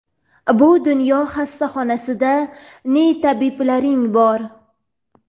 Bu dunyo xastaxonasida ne tabiblaring bor!.